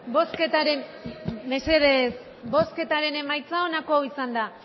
bosketaren mesedez bosketaren emaitza onako izan da